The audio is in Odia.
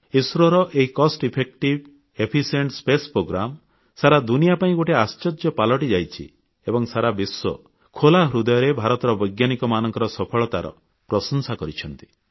ଇସ୍ରୋ ର ଏହି ସ୍ୱଳ୍ପ ବ୍ୟୟରେ ନିର୍ମିତ ପାରଦର୍ଶୀ ମହାକାଶ କାର୍ଯ୍ୟକ୍ରମ ସାରା ଦୁନିଆ ପାଇଁ ଗୋଟିଏ ଆଶ୍ଚର୍ଯ୍ୟ ପାଲଟିଯାଇଛି ଏବଂ ସାରା ବିଶ୍ୱ ଖୋଲା ହୃଦୟରେ ଭାରତର ବୈଜ୍ଞାନିକମାନଙ୍କ ସଫଳତାର ପ୍ରଶଂସା କରିଛନ୍ତି